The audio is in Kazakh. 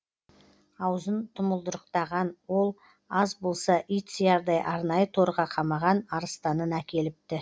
аузын тұмылдырықтаған ол аз болса ит сиярдай арнайы торға қамаған арыстанын әкеліпті